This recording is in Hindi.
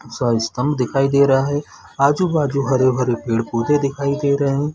--सइस्ताम दिखाई दे रहा है आजु-बाजु हरे-भरे पेड़-पौधे दिखाए दे रहे है।